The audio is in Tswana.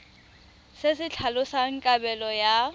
se se tlhalosang kabelo ya